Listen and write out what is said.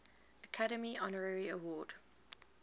academy honorary award